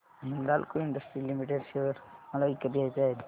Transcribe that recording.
Hindalco industries limited share मला विकत घ्यायचे आहेत